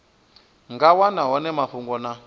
nga wana hone mafhungo na